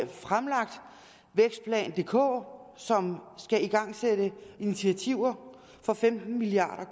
fremlagt vækstplan dk som skal igangsætte initiativer for femten milliard